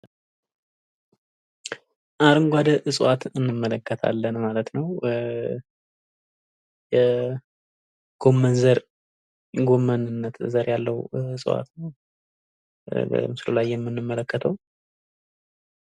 አረንጓዴ እጽዋትን እንመለከታለን ማለት ነው። የጎመንዘር የጎመንነት ዘር ያለው እጽዋት ነው። በምስሉ ላይ የምንመለከተው ።